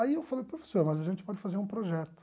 Aí eu falei, professor, mas a gente pode fazer um projeto.